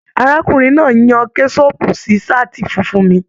Arákùnrin náà yan kẹsọpu sí saati fúnfún mí.